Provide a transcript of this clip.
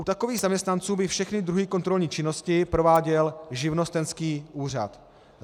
U takových zaměstnanců by všechny druhy kontrolní činnosti prováděl živnostenský úřad.